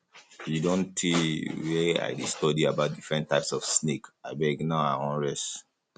e don tey wey i dey study about different types of snake abeg now i wan rest